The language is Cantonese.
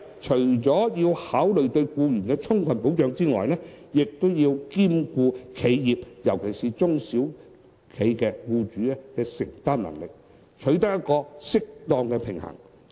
除了要考慮對僱員提供充分保障外，亦要兼顧企業尤其是中小企僱主的承擔能力，取得一個適當的平衡。